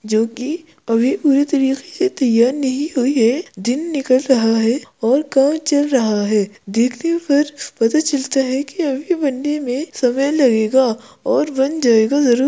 जोकि अभी पुरे तरीके से तैयार नहीं हुई है। दिन निकल रहा है और काम चल रहा है। देखने पर पता चलता है कि अभी बनने मे समय लगेगा और बन जायगा जरुर।